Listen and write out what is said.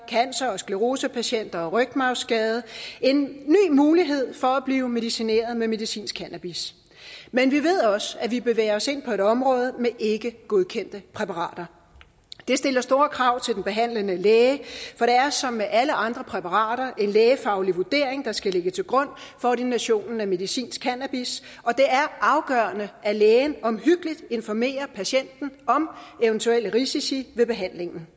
cancer og sclerosepatienter og rygmarvsskadede en ny mulighed for at blive medicineret med medicinsk cannabis men vi ved også at vi bevæger os ind på et område med ikkegodkendte præparater det stiller store krav til den behandlende læge for det er som med alle andre præparater en lægefaglig vurdering der skal ligge til grund for ordinationen af medicinsk cannabis og det er afgørende at lægen omhyggeligt informerer patienten om eventuelle risici ved behandlingen